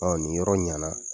Ɔ ni yɔrɔ ɲɛna